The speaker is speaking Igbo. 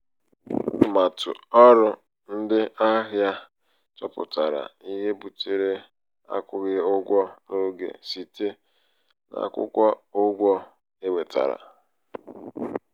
atụmatụ ọrụ ndị ahịa chọpụtara ihe butere akwụghị ụgwọ n'oge site n'akwụkwọ ụgwọ e wetara.